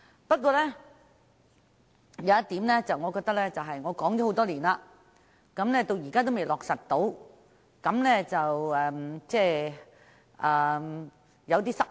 不過，還有一項建議我已提出多年，但至今仍未落實，我感到有點失望。